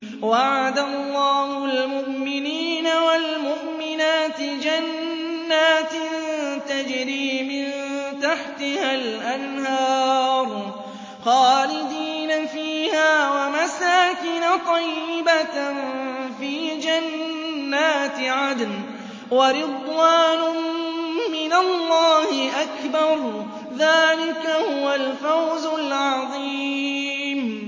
وَعَدَ اللَّهُ الْمُؤْمِنِينَ وَالْمُؤْمِنَاتِ جَنَّاتٍ تَجْرِي مِن تَحْتِهَا الْأَنْهَارُ خَالِدِينَ فِيهَا وَمَسَاكِنَ طَيِّبَةً فِي جَنَّاتِ عَدْنٍ ۚ وَرِضْوَانٌ مِّنَ اللَّهِ أَكْبَرُ ۚ ذَٰلِكَ هُوَ الْفَوْزُ الْعَظِيمُ